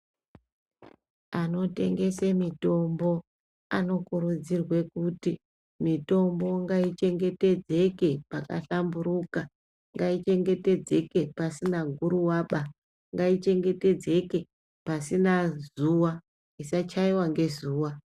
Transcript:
Anotengese mitombo anokurudzirwe kuti mitombo ngayichengetedzeke pakahlamburuka. Ngayichengetedzeke pasina guruwaba. Ngayichengetedzeke pasina zuwa, isachaiwa ngezuva.